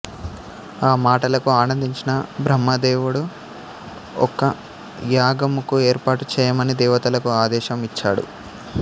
ఆ మాటలకు ఆనందించిన బ్రహ్మదేవుడు ఒక యాగముకు ఏర్పాటు చేయమని దేవతలకు ఆదేశం ఇచ్చాడు